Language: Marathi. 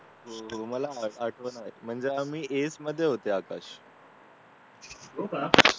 मला आठवेना म्हणजे आम्ही एट मध्ये होतो आकाश